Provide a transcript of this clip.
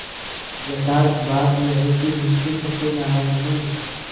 यथार्थ बात यह है कि मुंशी सत्यनाराण ने